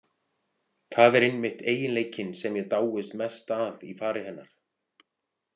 Það er einmitt eiginleikinn sem ég dáist mest að í fari hennar.